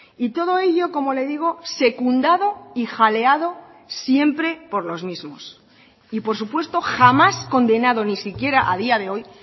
y todo ello como le digo secundado y jaleado siempre por los mismos y por supuesto jamás condenado ni siquiera a día de hoy